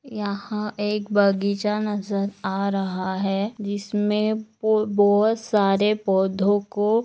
यहा एक बगीचा नजर आ रहा है जिसमे बो-बहुत सारे पौधों को--